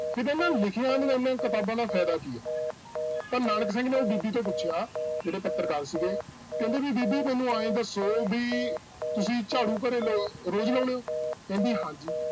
ਫਿਰ ਇਹਨਾਂ ਲਿਖੀਆਂ ਕਿਤਾਬਾਂ ਦਾ ਫ਼ਾਇਦਾ ਕੀ ਹੈ ਤਾਂ ਨਾਨਕ ਸਿੰਘ ਨੇ ਉਹ ਬੀਬੀ ਤੋਂ ਪੁੱਛਿਆ, ਜਿਹੜੇ ਪੱਤਰਕਾਰ ਸੀਗੇ, ਕਹਿੰਦੇ ਵੀ ਬੀਬੀ ਮੈਨੂੰ ਇਉਂ ਦੱਸੋ ਵੀ ਤੁਸੀਂ ਝਾੜੂ ਕਰੇ ਲਾ~ ਰੋਜ਼ ਲਾਉਂਦੇ ਹੋ ਕਹਿੰਦੀ ਹਾਂਜੀ।